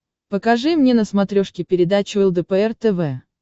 покажи мне на смотрешке передачу лдпр тв